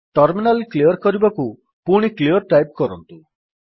terminal clear କରିବାକୁ ପୁଣି clear type କରନ୍ତୁ